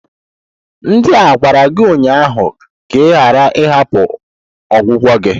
Ndị a gwara gi ụnyaahụ ka ị ghara ịhapụ ọgwụgwọ gị!